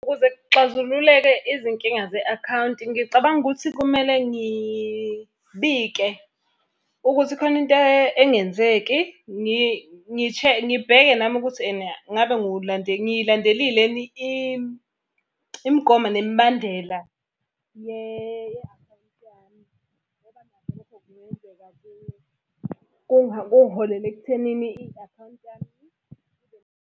Ukuze kuxazululeke izinkinga ze-akhawunti ngicabanga ukuthi kumele ngibike ukuthi khona into engenzeki. Ngibheke nami ukuthi ene ngabe ngiyilandelile yini imigomo nemibandela kungiholele ekuthenini i-akhawunti yami.